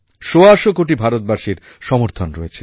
সোয়াশো কোটি ভারতবাসীর সমর্থন রয়েছে